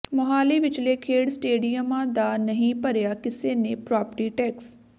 ਮੁਹਾਲੀ ਵਿਚਲੇ ਖੇਡ ਸਟੇਡੀਅਮਾਂ ਦਾ ਨਹੀਂ ਭਰਿਆ ਕਿਸੇ ਨੇ ਪ੍ਰਾਪਰਟੀ ਟੈਕਸ